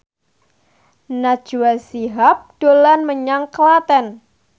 Najwa Shihab dolan menyang Klaten